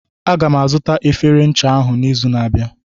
Aga m azụta efere ncha ahụ n'izu na-abịa.